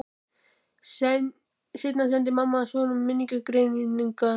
Seinna sendi mamma hans honum minningargreinarnar.